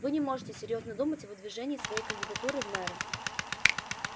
вы не можете серьёзно думать о выдвижении своей кандидатуры в мэры